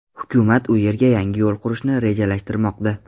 Hukumat u yerga yangi yo‘l qurishni rejalashtirmoqda.